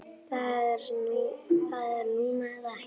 Það er núna eða ekki.